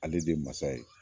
Ale de ye masa ye